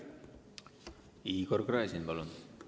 Igor Gräzin, palun!